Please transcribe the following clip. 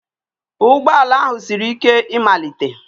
Ụgbọ ala ahụ siri ike ịmalite